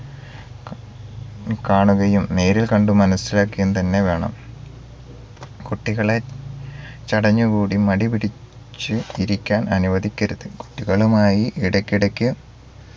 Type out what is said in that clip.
ക കാണുകയും നേരിൽക്കണ്ട് മനസ്സിലാക്കുകയും തന്നെ വേണം കുട്ടികളെ ചടഞ്ഞുകൂടി മടിപിടിച് ഇരിക്കാൻ അനുവദിക്കരുത് കുട്ടികളുമായി ഇടക്കിടക്ക്